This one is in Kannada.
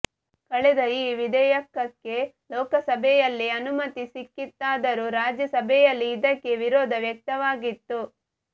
ಕಳೆದ ಈ ವಿಧೆಯಕಕ್ಕೆ ಲೋಕಸಭೆಯಲ್ಲಿ ಅನುಮತಿ ಸಿಕ್ಕಿತ್ತಾದರೂ ರಾಜ್ಯ ಸಭೆಯಲ್ಲಿ ಇದಕ್ಕೆ ವಿರೋಧ ವ್ಯಕ್ತವಾಗಿತ್ತು